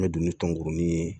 N bɛ don ni tɔnkurunin ye